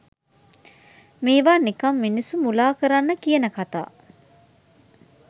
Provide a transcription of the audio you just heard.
මේවා නිකන් මිනිස්සු මුලා කරන්න කියන කතා.